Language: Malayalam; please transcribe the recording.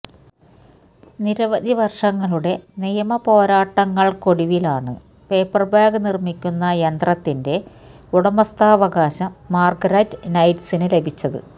നിരവധി വർഷങ്ങളുടെ നി യമ പോരാട്ടങ്ങൾക്കൊടുവിലാണ് പേപ്പർ ബാഗ് നിർമ്മിക്കുന്ന യന്ത്രത്തിന്റെ ഉടമസ്ഥാവകാശം മാർഗരറ്റ് നൈറ്റിന് ലഭിച്ചത്